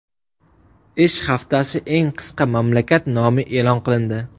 Ish haftasi eng qisqa mamlakat nomi e’lon qilindi.